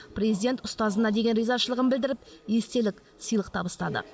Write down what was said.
президент ұстазына деген ризашылығын білдіріп естелік сыйлық табыстады